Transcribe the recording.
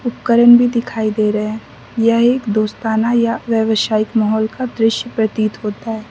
भी दिखाई दे रहे हैं यह एक दोस्ताना या व्यावसायिक माहौल का दृश्य प्रतीत होता है।